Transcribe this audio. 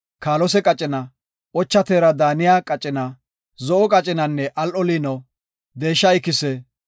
kaalose qacina, ocha teera daaniya qacina, zo7o qacinanne al7o liino, deesha ikise,